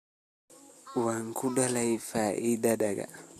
Waan ku daalay fadhiga.